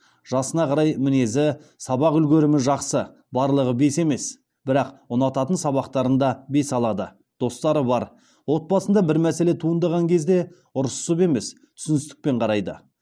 жасына қарай мінезі сабақ үлгерімі жақсы барлығы бес емес бірақ ұнататын сабақтарында бес алады достары бар отбасында бір мәселе туындаған кезде ұрсысып емес түсіністікпен қарайды